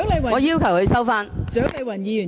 我要求她收回言論。